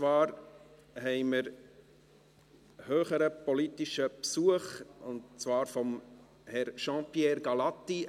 Wir haben höheren politischen Besuch: Herr Jean-Pierre Gallati.